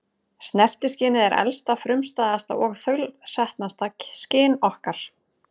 Snertiskynið er elsta, frumstæðasta og þaulsetnasta skyn okkar.